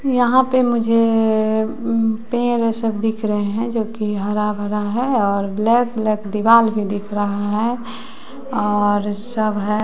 यहां पे मुझे पेर सब दिख रहे हैं जो की हरा भरा है और ब्लैक ब्लैक दीवाल भी दिख रहा है और सब है।